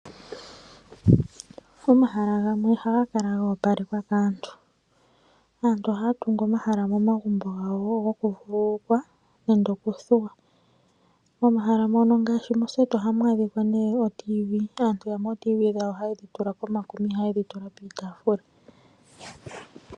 Omahala gamwe oha ga kala go opalekwa kaantu. Aantu ohaya tungu omahala momagumbo gawo goku vululukwa nende okudhuwapo. Momahala mono ngaashi moseti oha mu adhika ne oTv. Aantu yamwe OTv dhawo ohaa dhi tula komakuma iha yedhi tula piitafula.